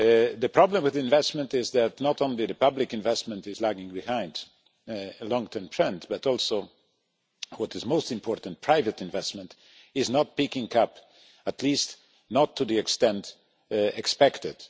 The problem with investment is that not only is public investment lagging behind, a long term trend, but also, what is most important, private investment is not picking up, at least not to the extent expected.